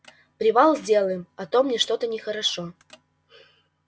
привал сделаем а то мне что-то нехорошо